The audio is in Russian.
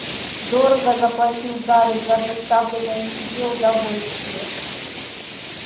дорого заплатил гарри за доставленное себе удовольствие